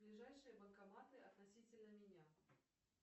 ближайшие банкоматы относительно меня